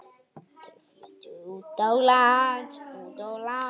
Þau fluttu út á land.